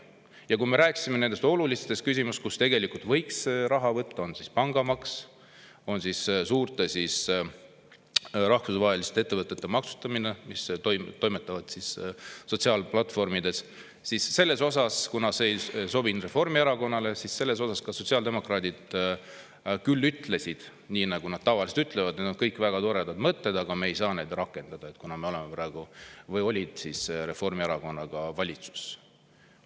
Ja kui me rääkisime olulistest küsimustest ja sellest, kust võiks raha võtta, olgu pangamaks või suurte rahvusvaheliste sotsiaalplatvormides toimetavate ettevõtete maksustamine, see ei sobinud Reformierakonnale, ja sotsiaaldemokraadid ütlesid, nii nagu nad tavaliselt ütlevad: "Need on kõik väga toredad mõtted, aga me ei saa neid rakendada, kuna me oleme praegu Reformierakonnaga valitsuses.